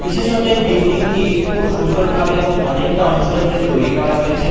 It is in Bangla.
বিশেষত এই বিল্ডিং -টি খুব সুন্দর ভাবে এবং অনেকটা অঞ্চল জুড়ে তৈরি করা হয়েছে।